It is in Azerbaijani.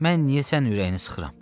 Mən niyə sənin ürəyini sıxıram?